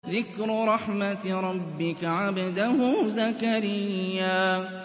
ذِكْرُ رَحْمَتِ رَبِّكَ عَبْدَهُ زَكَرِيَّا